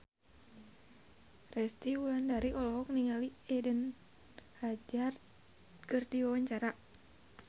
Resty Wulandari olohok ningali Eden Hazard keur diwawancara